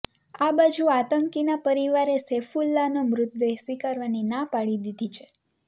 આ બાજુ આતંકીના પરિવારે સૈફુલ્લાનો મૃતદેહ સ્વીકારવાની ના પાડી દીધી છે